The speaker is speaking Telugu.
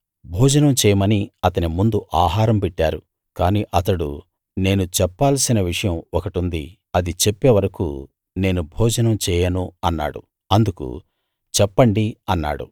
భోజనం చేయమని అతని ముందు ఆహారం పెట్టారు కానీ అతడు నేను చెప్పాల్సిన విషయం ఒకటుంది అది చెప్పే వరకూ నేను భోజనం చేయను అన్నాడు అందుకు చెప్పండి అన్నాడు